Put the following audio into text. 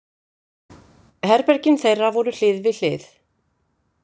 Herbergin þeirra voru hlið við hlið.